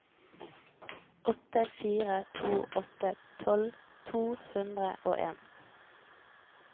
åtte fire to åtte tolv to hundre og en